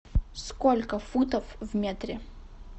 сколько футов в метре